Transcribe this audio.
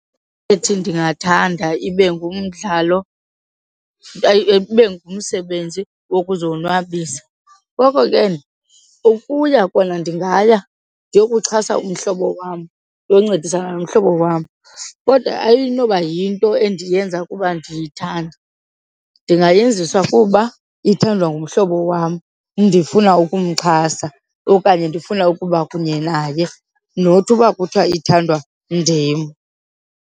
ndingathanda ibe ngumdlalo, ibe ngumsebenzi wokuzonwabisa ngoko ke ukuya kona ndingaya ndiyokuxhasa umhlobo wam, ndiyoncedisana nomhlobo wam. Kodwa ayinoba yinto endiyenza kuba ndiyithanda, ndingayenziswa kuba ithandwa ngumhlobo wam ndifuna ukumxhasa okanye ndifuna ukuba kunye naye, not uba kuthiwa ithandwa ndim.